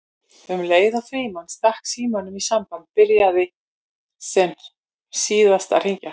Um leið og Frímann stakk símanum í samband byrjaði sem óðast að hringja